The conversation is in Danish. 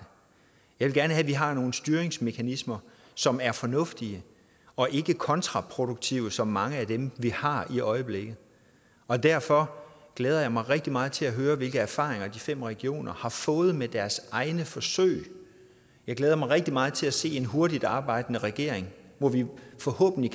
jeg vil at have vi har nogle styringsmekanismer som er fornuftige og ikke kontraproduktive som mange af dem vi har i øjeblikket er derfor glæder jeg mig rigtig meget til at høre hvilke erfaringer de fem regioner har fået med deres egne forsøg og jeg glæder mig rigtig meget til at se en hurtigtarbejdende regering hvor vi forhåbentlig